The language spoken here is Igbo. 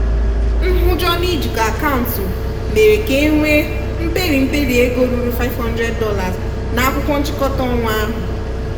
nhụjọ n'ijikọ akaụntụ mere ka e nwee mperi mperi ego ruru $500 na akwụkwọ nchịkọta ọnwa ahụ.